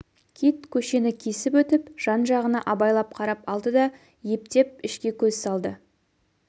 кит көшені кесіп өтіп жан-жағына абайлап қарап алды да ептеп ішке көз салды